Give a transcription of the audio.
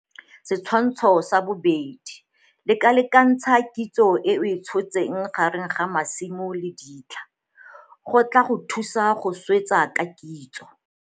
Setshwantsho sa 2 - Lekalakentsha kitso e o e tshotseng gare ga masimo le ditlha - go tlaa go thusa go swetsa ka kitso.